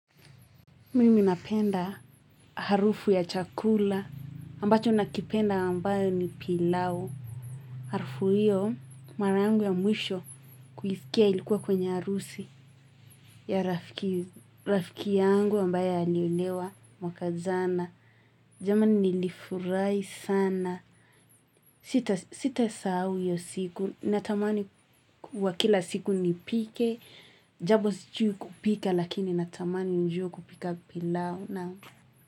Mimi napenda harufu ya chakula ambacho nakipenda ambayo ni pilau. Harufu hiyo mara yangu ya mwisho kuisikia ilikuwa kwenye harusi ya rafiki yangu ambayo aliolewa mwaka jana. Jamani nilifurahi sana sita sahau hiyo siku, natamani wa kila siku nipike, japo sijui kupika lakini natamani nijue kupika pilau.